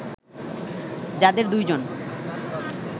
যাদের দুই জন